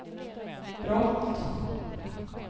brott